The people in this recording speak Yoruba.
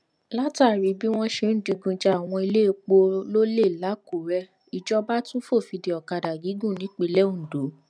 látàrí bí wọn ṣe ń digun ja àwọn iléepo lólè làkùúrẹ́ ìjọba tún fòfin dé ọ̀kadà gígùn nipinlẹ ondo